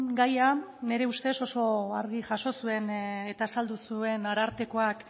gaia nire ustez oso argi jaso zuen eta azaldu zuen arartekoak